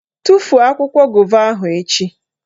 Tufuo akwụkwọ gova ahụ echi!